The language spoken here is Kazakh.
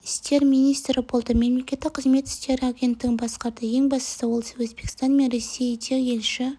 істер министрі болды мемлекеттік қызмет істері агенттігін басқарды ең бастысы ол өзбекстан мен ресейде елші